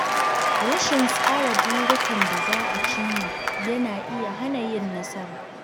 Rashin tsara burikan da za a cimma yana iya hana yin nasara.